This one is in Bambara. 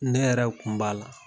Ne yɛrɛ kun b'a la.